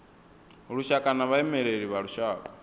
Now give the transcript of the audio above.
lushaka na vhaimeleli vha lushaka